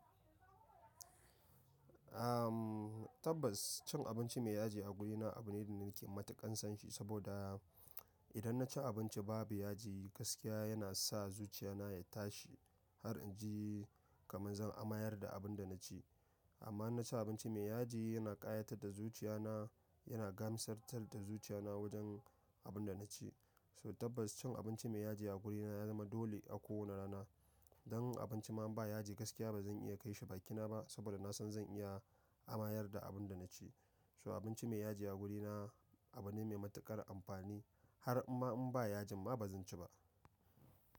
Ahm, tabbas cin abinci mai yaji a guri na abu ne da nake matuƙan son shi. Saboda idan na ci abinci babu yaji gaskiya yana sa zuciya na ya tashi har inji kaman zan amayar da abun da na ci. Amma inna ci abinci mai yaji yana ƙayatar da zuciya na yana gamsartar da zuciya na wajen abun da na ci. So tabbas cin abinci mai yaji a guri na ya zama dole a kowane rana. Dan abinci ma in ba yaji gaskiya ba zan iya kai shi bakina ba. Saboda na san zan iya amayar da abun da na ci. So abinci mai yaji a guri na abu ne mai matuƙar amfani har imma in ba yajin ma ba zan ci ba.